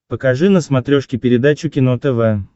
покажи на смотрешке передачу кино тв